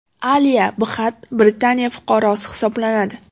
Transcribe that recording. Aliya Bxatt Britaniya fuqarosi hisoblanadi.